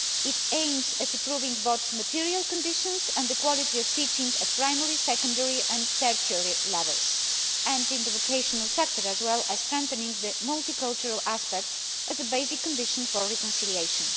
It aims at improving both material conditions and the quality of teaching at primary, secondary and tertiary levels and in the vocational sector, as well as strengthening the multicultural aspects as a basic condition for reconciliation.